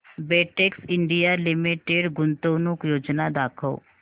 Betex India limited गुंतवणूक योजना दाखव